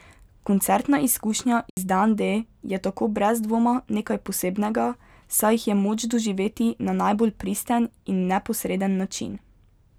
Koncertna izkušnja z Dan D je tako brez dvoma nekaj posebnega, saj jih je moč doživeti na najbolj pristen in neposreden način.